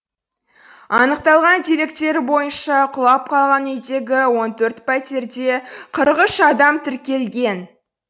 анықталған деректер бойынша құлап қалған үйдегі он төрт пәтерде қырық үш адам тіркелген